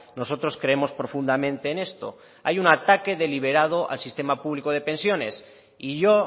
nosotros creemos profundamente en esto hay un ataque deliberado al sistema público de pensiones y yo